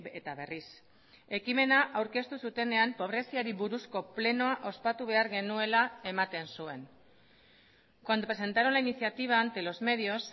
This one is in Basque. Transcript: eta berriz ekimena aurkeztu zutenean pobreziari buruzko plenoa ospatu behar genuela ematen zuen cuando presentaron la iniciativa ante los medios